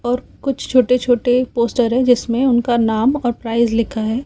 और कुछ छोटे छोटे पोस्टर है जिसमें उनका नाम और प्राइस लिखा हैं।